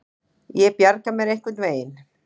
Ég bjarga mér einhvern veginn.